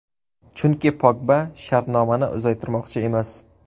Chunki Pogba shartnomani uzaytirmoqchi emas.